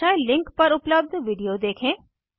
दर्शाये लिंक पर उपलब्ध वीडियो लिखें